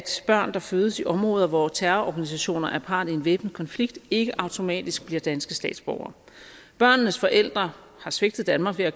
børn der fødes i områder hvor terrororganisationer er part i en væbnet konflikt ikke automatisk bliver danske statsborgere børnenes forældre har svigtet danmark ved at